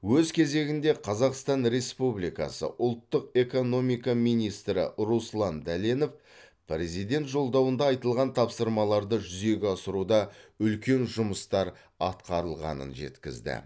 өз кезегінде қазақстан республикасы ұлттық экономика министрі руслан дәленов президент жолдауында айтылған тапсырмаларды жүзеге асыруда үлкен жұмыстар атқарылғанын жеткізді